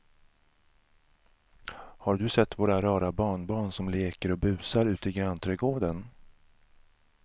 Har du sett våra rara barnbarn som leker och busar ute i grannträdgården!